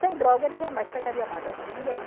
Sem droga ele jamais pegaria nada de ninguém.